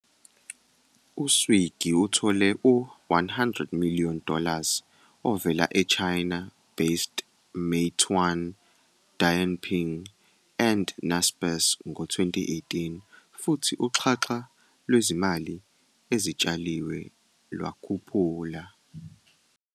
U-Swiggy uthole u-100 million dollars ovela e-China-based Meituan-Dianping and Naspers ngo-2018 futhi uxhaxha lwezimali ezitshaliwe lwakhuphula.